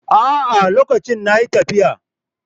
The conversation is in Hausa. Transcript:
A'a, lokacin na yi tafiya.